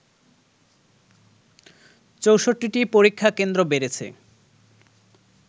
৬৪টি পরীক্ষা কেন্দ্র বেড়েছে